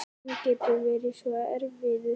Hann getur verið svo erfiður